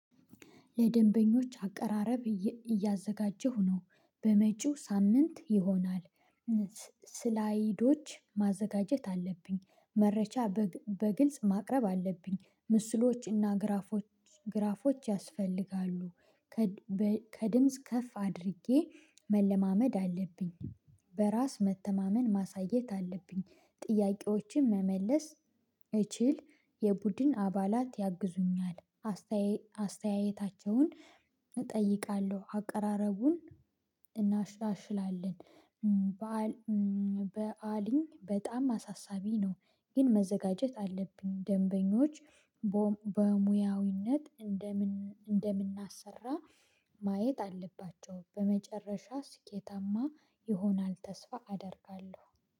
ለደንበኞች አቀራረብ እያዘጋጀሁ ነው በመጪው ሳምንት ይሆናል። ስላይዶች ማዘጋጀት አለብኝ መረጃ በግልጽ በግልጽ ማቅረብ አለብኝ ምስሎችና ግራፎች ግራፎች ያስፈልጋሉ። ከድምጽ ከፍ አድርጌ መለማመድ አለብኝ። በራስ መተማመን ማሳየት አለብኝ። ጥያቄዎችን መመለስ እችል። የቡድን አባላት ያግዙኛል አስተያየታቸውን እጠይቃለሁ አቀራረቡን እናሻሽላለን። በዓሊኝ በጣም አሳሳቢ ነው። ግን መዘጋጀት አለብኝ ደንበኞች በሙያዊነት እንደምን እንደምናሰራ ማየት አለባቸው። በመጨረሻ ስኬታማ ይሆናል ተስፋ አደርጋለሁ